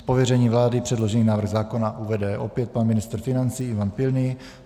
Z pověření vlády předložený návrh zákona uvede opět pan ministr financí Ivan Pilný.